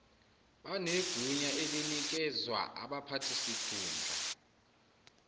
banegunya elinikezwa abaphathisikhundla